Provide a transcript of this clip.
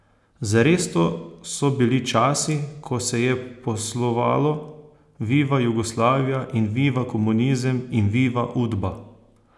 Zares, to so bili časi, ko se je poslovalo, viva Jugoslavija in viva komunizem in viva Udba!